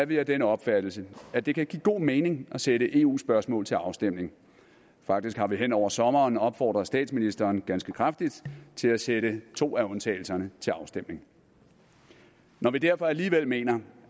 vi af den opfattelse at det kan give god mening at sætte eu spørgsmål til afstemning faktisk har vi hen over sommeren opfordret statsministeren ganske kraftigt til at sætte to af undtagelserne til afstemning når vi derfor alligevel mener